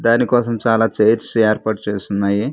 దానికోసం చాలా చైర్స్ ఏర్పాటు చేసున్నాయి.